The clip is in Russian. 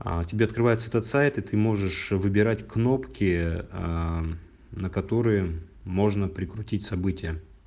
а тебе открывается этот сайт и ты можешь выбирать кнопки на которые можно прикрутить события